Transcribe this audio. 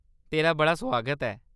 तेरा बड़ा सुआगत ऐ।